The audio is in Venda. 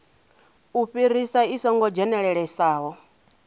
u fhirisa i songo dzhenelelesaho